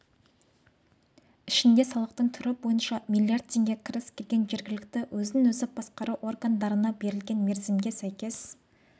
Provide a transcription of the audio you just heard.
ішінде салықтың түрі бойынша млрд теңге кіріс келген жергілікті өзін-өзі басқару органдарына берілген мерзімге сәйкес